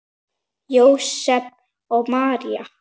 Jósep og María